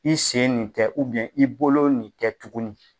I sen nin tɛ i bolo nin tɛ tuguni.